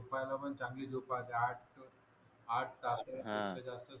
झोप्यायला पण चांगली झोप पाहिजे आठ आठ तास हा